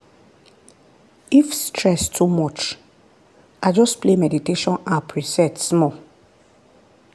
if stress too much i just play meditation app reset small.